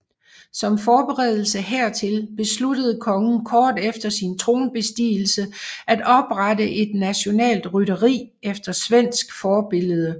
Som forberedelse hertil besluttede kongen kort efter sin tronbestigelse at oprette et nationalt rytteri efter svensk forbillede